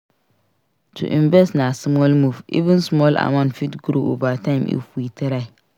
To invest na smart move; even small amount fit grow over time if we try.